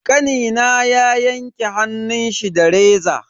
Kanina ya yanke hannunshi da reza.